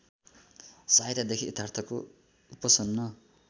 सहायतादेखि यथार्थको उपसन्न